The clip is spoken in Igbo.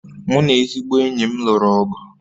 Mụ na ezigbo enyi m lụrụ ọgụ